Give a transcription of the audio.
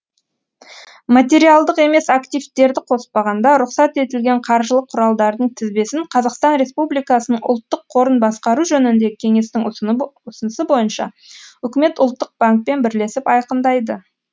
материалдық емес активтерді қоспағанда рұқсат етілген қаржылық құралдардың тізбесін қазақстан республикасының ұлттық қорын басқару жөніндегі кеңестің ұсынысы бойынша үкімет ұлттық банкпен бірлесіп айқындайды